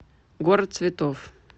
город цветов